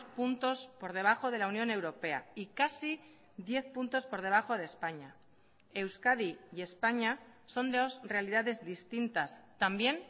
puntos por debajo de la unión europea y casi diez puntos por debajo de españa euskadi y españa son dos realidades distintas también